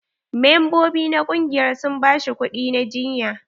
Membobi na ƙungiyar sun ba shi kuɗi na jiyya.